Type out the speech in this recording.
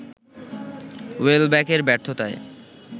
ওয়েলব্যকের ব্যর্থতায়